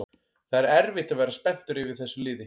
Það er erfitt að vera spenntur yfir þessu liði